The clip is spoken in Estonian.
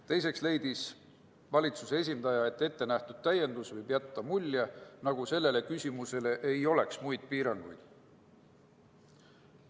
Teiseks leidis valitsuse esindaja, et ettenähtud täiendus võib jätta mulje, nagu sellele küsimusele ei oleks muid piiranguid.